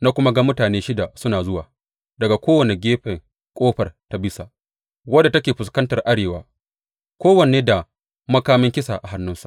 Na kuma ga mutane shida suna zuwa daga kowane gefen ƙofar ta bisa, wadda take fuskantar arewa, kowanne da makamin kisa a hannunsa.